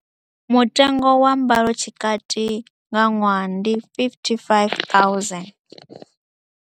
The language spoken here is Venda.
Mutengo wa mbalotshikati nga ṅwaha ndi R55 000.